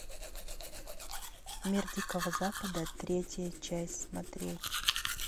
мир дикого запада третья часть смотреть